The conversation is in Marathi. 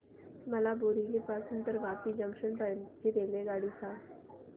मला बोरिवली पासून तर वापी जंक्शन पर्यंत ची रेल्वेगाडी सांगा